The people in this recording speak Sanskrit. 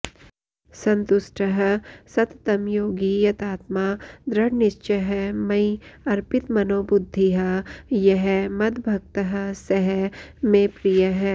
सन्तुष्टः सततं योगी यतात्मा दृढनिश्चयः मयि अर्पितमनोबुद्धिः यः मद्भक्तः सः मे प्रियः